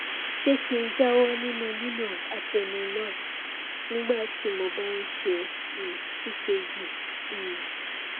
ṣé kí n jáwọ nínú lílo atenolol nígbà tí mo bá ń ṣe um ekg um